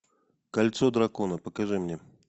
кольцо дракона покажи мне